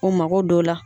O mako don o la